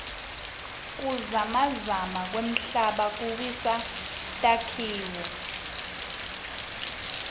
kuzamazama kwemhlaba kuwisa takhiloo